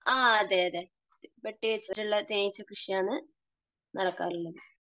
ആ. അതെ അതെ. പെട്ടി വച്ചിട്ടുള്ള തേനീച്ച കൃഷിയാണ് നടക്കാറുള്ളത്.